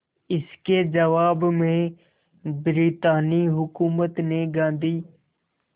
इसके जवाब में ब्रितानी हुकूमत ने गांधी